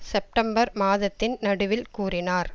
September மாதத்தின் நடுவில் கூறினார்